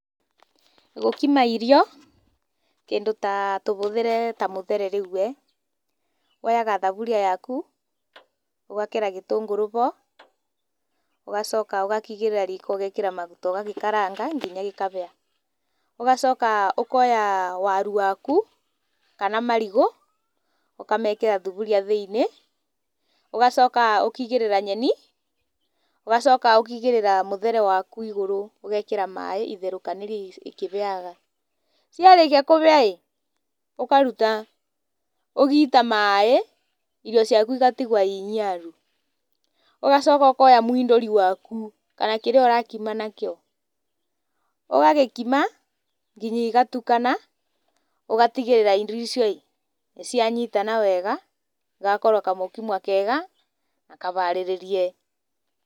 Gũkima irio, kĩndũ ta tũbuthĩre mũthere rĩu-e, woyaga thaburia yaku, ũgekĩra gĩtũngũrũ bo, ũgacoka ũgakĩigĩrĩra riko ũgekira riko ũgagĩkaranga kinya gĩkabĩa. Ũgacoka ũkoya waru waku, kana marigũ ũkamekĩra thuburia thĩiniĩ, ũgacoka ũkaigĩrĩra nyeni, ũgacoka ũkaigĩrĩra mũthere waku igũrũ, ũgekĩra maĩ itherũkanĩrie ikĩbĩaga. Ciarĩkia kũbĩa-ĩ ũkaruta, ũgiita maĩ, irio ciaku igatigwo iniaru. Ũgacoka ũkoya mũindũri waku kana kĩrĩa ũrakima nakĩo, ũgagĩkima kinya igatukana, ũgatigĩrĩra irio icio-ĩ, nĩcianyitana wega, igakorwa kamũkimwa kega, na kabarĩrĩrie.